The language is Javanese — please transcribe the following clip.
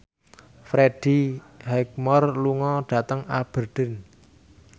Freddie Highmore lunga dhateng Aberdeen